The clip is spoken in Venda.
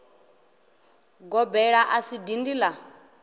gobela a si dindi la